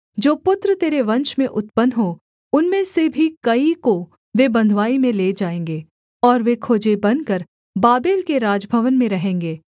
जो पुत्र तेरे वंश में उत्पन्न हों उनमें से भी कई को वे बँधुवाई में ले जाएँगे और वे खोजे बनकर बाबेल के राजभवन में रहेंगे